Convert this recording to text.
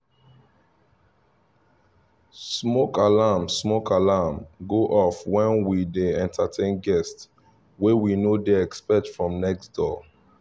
smoke alarm smoke alarm go off when we dey entertain guests wey we no dey expect from next door